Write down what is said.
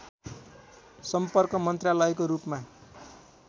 सम्पर्क मन्त्रालयको रूपमा